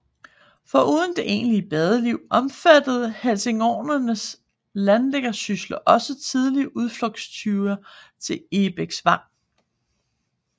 Foruden det egentlige badeliv omfattede helsingoranernes landliggersysler også tidligt udflugtsture til Egebæksvang